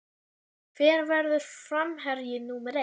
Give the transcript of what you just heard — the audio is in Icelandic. Hver verður framherji númer eitt?